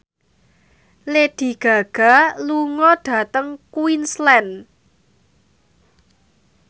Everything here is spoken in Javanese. Lady Gaga lunga dhateng Queensland